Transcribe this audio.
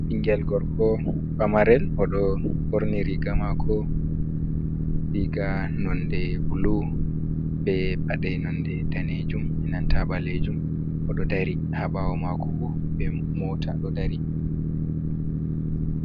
Ɓingel gorko pamarel oɗo ɓorni riga mako, riga nonde bulu be paɗe nonde danejum enanta ɓalejum oɗo dari ha bawo mako bo be mota ɗo dari.